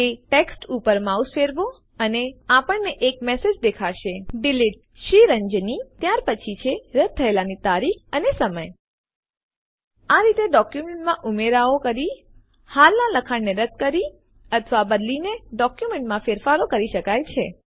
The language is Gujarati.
તે ટેક્સ્ટ ઉપર માઉસ ફેરવો અને આપણને એક મેસેજ દેખાશે ડિલીટેડ Sriranjani ત્યાર પછી છે રદ્દ થયેલાની તારીખ અને સમય આ રીતે ડોક્યુમેન્ટમાં ઉમેરાઓ કરી હાલના લખાણ ને રદ કરી અથવા બદલીને ડોક્યુમેન્ટમાં ફેરફારો કરી શકાય છે